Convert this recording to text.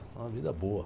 É uma vida boa.